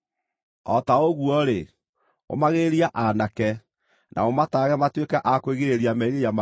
O ta ũguo-rĩ, ũmagĩrĩria aanake, na ũmataarage matuĩke a kwĩgirĩrĩria merirĩria ma mwĩrĩ.